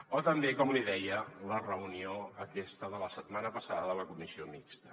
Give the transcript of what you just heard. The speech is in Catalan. o també com li deia la reunió aquesta de la set·mana passada de la comissió mixta